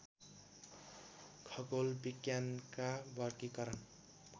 खगोल विज्ञानका वर्गीकरण